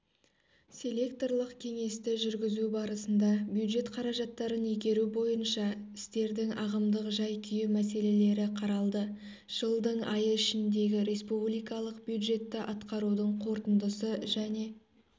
селекторлық кеңесті жүргізу барысында бюджет қаражаттарын игеру бойынша істердің ағымдық жай-күйі мәселелері қаралды жылдың айы ішіндегі республикалық бюджетті атқарудың қорытындысы және